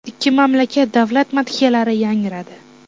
Ikki mamlakat davlat madhiyalari yangradi.